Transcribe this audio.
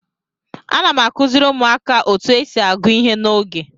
Ana m akụziri ụmụaka otu esi agụ ihe n'oge.